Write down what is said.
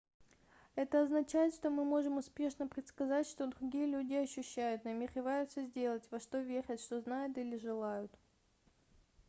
это означает что мы можем успешно предсказать что другие люди ощущают намереваются сделать во что верят что знают или желают